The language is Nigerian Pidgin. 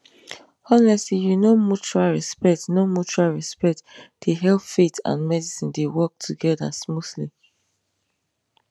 honestly you know mutual respect know mutual respect dey help faith and medicine dey work together smoothly